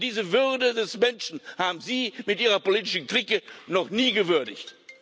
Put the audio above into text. Aber diese Würde des Menschen haben Sie mit Ihrer politischen Clique noch nie gewürdigt.